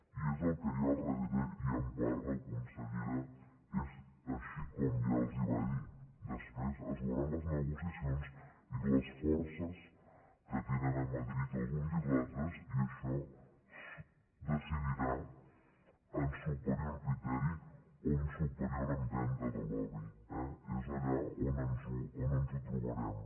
i és el que hi ha al darrere i en part la consellera és així com ja els ho va dir després es veuran les negociacions i les forces que tenen a madrid els uns i els altres i això es decidirà en superior criteri o en superior empenta de lobby és allà on ens ho trobarem